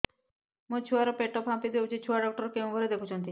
ମୋ ଛୁଆ ର ପେଟ ଫାମ୍ପି ଯାଉଛି ଛୁଆ ଡକ୍ଟର କେଉଁ ଘରେ ଦେଖୁ ଛନ୍ତି